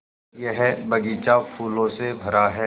यह बग़ीचा फूलों से भरा है